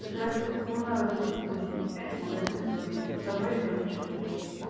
здравствуйте коммунаров двести восемьдесят пять магазин цветы со мной ребёнок четырёх лет